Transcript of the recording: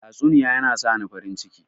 Tatsuniya yana sani farin ciki.